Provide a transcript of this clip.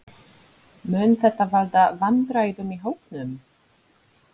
Mun þetta valda vandræðum í hópnum?